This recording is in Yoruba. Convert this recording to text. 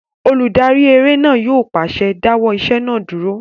Olùdarí eré náà yóò pàṣẹ "dáwọ́ ìṣe náà dúró!"